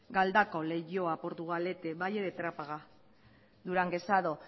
galdakao leioa portugalete valle de trápaga duranguesado